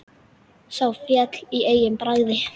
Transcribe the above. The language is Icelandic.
Sá féll á eigin bragði!